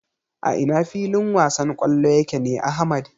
A ina filin wasan kwallo yake ne Ahmad?